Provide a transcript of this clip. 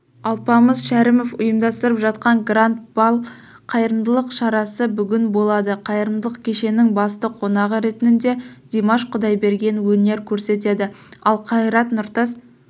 алпамыс шәрімов ұйымдастырып жатқан гранд-бал қайырымдылық шарасы бүгін болады қайырымдылық кешінің басты қонағы ретінде димаш құдайберген өнер көрсетеді ал қайрат нұртас